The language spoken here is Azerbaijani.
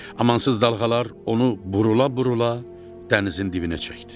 Amansız dalğalar onu burula-burula dənizin dibinə çəkdi.